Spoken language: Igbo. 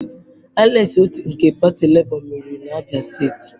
Alex Otti nke pati Labour meriri n'Abia steeti